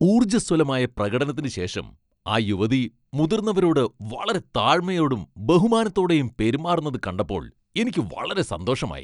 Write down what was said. ഊർജ്ജസ്വലമായ പ്രകടനത്തിന് ശേഷം ആ യുവതി മുതിർന്നവരോട് വളരെ താഴ്മയോടും ബഹുമാനത്തോടെയും പെരുമാറുന്നത് കണ്ടപ്പോൾ എനിക്ക് വളരെ സന്തോഷമായി.